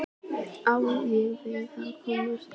Já, við ákváðum að slíta þessu í kvöld.